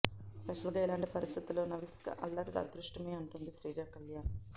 స్పెషల్గా ఇలాంటి పరిస్థితుల్లో నవిశ్క అల్లరి అదృష్టమే అంటోంది శ్రీజ కళ్యాణ్